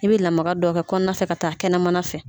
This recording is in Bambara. I bɛ lamaga dɔ kɛ kɔnɔna fɛ ka taa kɛnɛmana fɛ